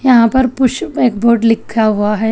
यहां पर पुश एक बोर्ड लिखा हुआ है।